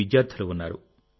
విద్యార్థులు ఉన్నారు